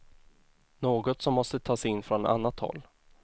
Något som måste tas in från annat håll.